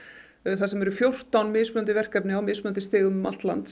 þar sem eru fjórtán mismunandi verkefni á mismunandi stigum um allt land